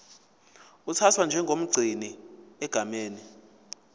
uthathwa njengomgcini egameni